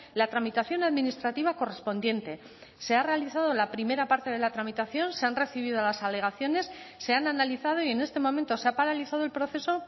la tramitación administrativa correspondiente se ha realizado la primera parte de la tramitación se han recibido las alegaciones se han analizado y en este momento se ha paralizado el proceso